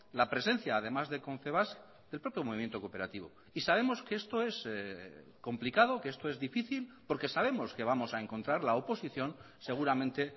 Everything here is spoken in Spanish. la presencia además de confebask del propio movimiento cooperativo y sabemos que esto es complicado que esto es difícil porque sabemos que vamos a encontrar la oposición seguramente